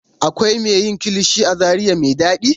Akwai me yin kilishi a zaria me ɗaɗi.